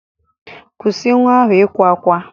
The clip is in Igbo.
Kwụsị nwa ahụ ịkwa ákwá.